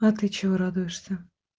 а ты чего радуешься